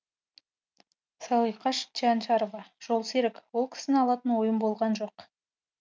салиқаш чянчарова жолсерік ол кісіні алатын ойым болған жоқ